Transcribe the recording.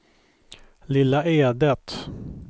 Lilla Edet